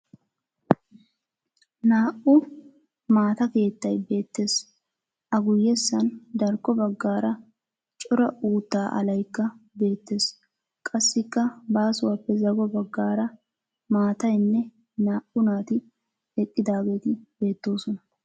Naa"u maata keettay beettes. A guyyessan darkko baggaara cora uuttaa alayikka beettes. Qassikka baasuwappe zago baggaara maatayinne naa"u naati eqqaageeti beettoosona.